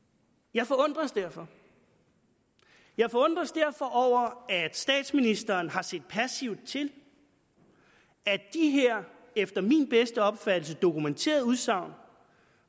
jeg forundres derfor jeg forundres derfor over at statsministeren har set passivt til at de her efter min bedste opfattelse dokumenterede udsagn